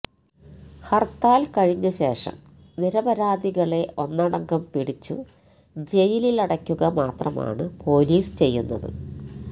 ഹർത്താൽ കഴിഞ്ഞ ശേഷം നിരപരാധികളെ ഒന്നടങ്കം പിടിച്ചു ജയിലിലടക്കുക മാത്രമാണ് പോലീസ് ചെയ്യുന്നത്